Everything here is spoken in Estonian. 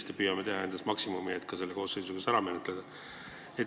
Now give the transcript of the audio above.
Me püüame anda endast maksimumi, et see eelnõu selle koosseisu ajal ära menetleda.